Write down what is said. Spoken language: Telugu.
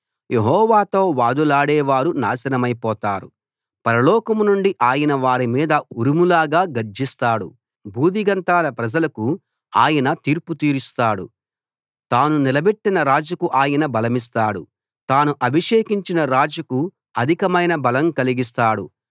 యెహోవాతో వాదులాడేవారు నాశనమైపోతారు పరలోకం నుండి ఆయన వారి మీద ఉరుములాగా గర్జిస్తాడు భూదిగంతాల ప్రజలకు ఆయన తీర్పు తీరుస్తాడు తాను నిలబెట్టిన రాజుకు ఆయన బలమిస్తాడు తాను అభిషేకించిన రాజుకు అధికమైన బలం కలిగిస్తాడు